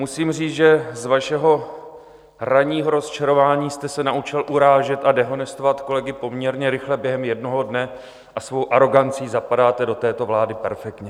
Musím říct, že z vašeho ranního rozčarování jste se naučil urážet a dehonestovat kolegy poměrně rychle během jednoho dne a svou arogancí zapadáte do této vlády perfektně.